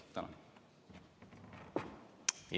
Tänan!